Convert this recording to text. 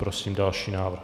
Prosím další návrh.